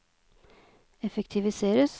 effektiviseres